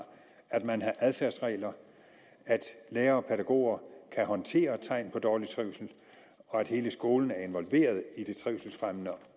at man har adfærdsregler at lærere og pædagoger kan håndtere tegn på dårlig trivsel og at hele skolen er involveret i det trivselsfremmende